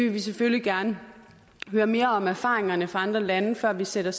vi selvfølgelig gerne høre mere om erfaringerne fra andre lande før vi sætter